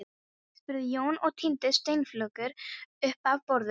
spurði Jón og tíndi steinflögur upp af borðinu.